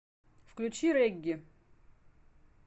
включи регги